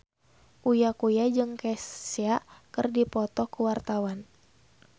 Uya Kuya jeung Kesha keur dipoto ku wartawan